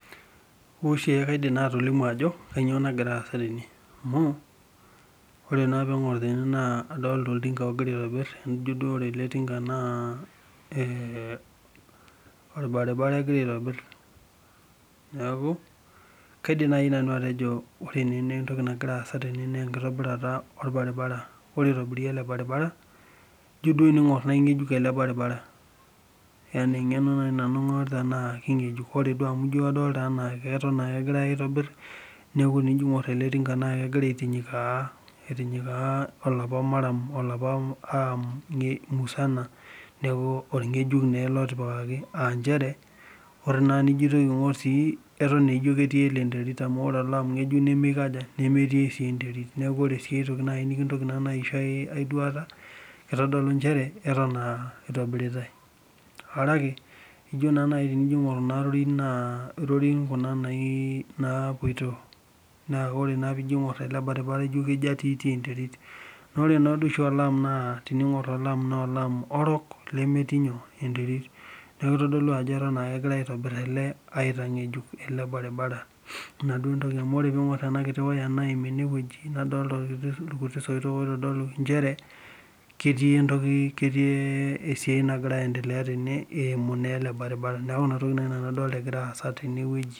kaidim atolimu ajo kainyoo nagira aasa tene amu adolita oltinka laijo duo orbaribara egira aitobir. Neeku kaidim naaji nanu atejo ore entoki nagira aasa tene naa enkitobirata orbaribara .Yiolo eitobiri orbariraba ,ijo duo teningor naa ingejuk ele baribara yani engeno naaji nanu aingorita naa kingejuk. Ore duo amu kadolita enaa ijo keton aa kegirae aitobir, neeku teningor ele tinka naaa kegira aitinyikaa olapa maram musana neeku orgejuk naa ele otipikaki aa nchere tinijo sii aitoki aingor naa ketii ele enterit naa ore ele amu eingejuk nemetii sii enterit .Neeku ore sii ai nikintoki naaji aisho ai duata, kitodolu nchere eton itobiritae, kake tinijo aingor Kuna rorin naa rorin Kuna naapoito naa ore naa pee eijo aingor ele baribara kejo atiitii enterit. Naa ore naa oshi tenijo aingor olam naa olam orok lemetii enterit ,neeku kitodolu ajo eton aa kegirae aitobir ele aitangejuk ele baribara. Amu ore pee ingor ena kiti waya naim eneweji nadolita irkuti soitok oitodolu nchere ,ketii esiai nagira aendelea tene eimu naa ele baribara. Neeku ina entoki naaji nanu nadolita egira aasa teneweji .